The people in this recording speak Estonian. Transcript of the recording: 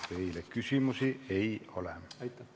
Teile küsimusi ei ole.